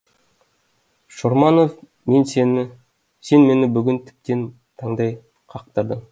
шорманов сен мені бүгін тіптен таңдай қақтырдың